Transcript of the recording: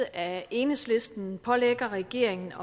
af enhedslisten pålægger regeringen